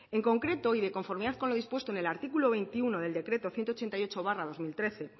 en concreto y de conformidad con lo dispuestos en el artículo veintiuno del decreto ciento ochenta y ocho barra dos mil trece